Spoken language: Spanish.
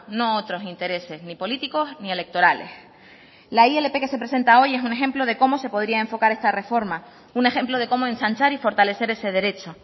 no otros intereses ni políticos ni electorales la ilp que se presenta hoy es un ejemplo de cómo se podría enfocar esta reforma un ejemplo de cómo ensanchar y fortalecer ese derecho